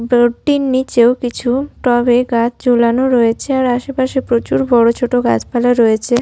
ডোর -টির নিচেও কিছু টবে গাছ ঝোলানো রয়েছে আর আশেপাশে প্রচুর বড় ছোট গাছপালা রয়েছে।